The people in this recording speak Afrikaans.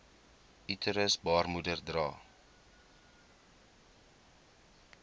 uterus baarmoeder dra